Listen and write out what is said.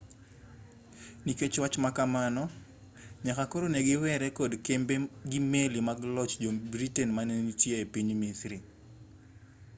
nikech wach ma kamano nyaka koro ne giwere kod kembe gi meli mag loch jo-britain manenitie e piny misri